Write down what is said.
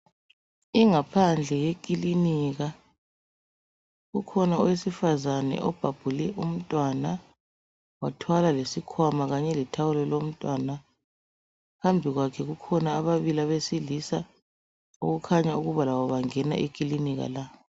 Ingaphandle yekilinika. Kukhona owesifazane obhabhule umntwana wathwala lesikhwama khanye letawulo lomntwana. Phambi kwakhe kukhona ababili abesilisa okukhanya ukuba labo bangena ekilinika la.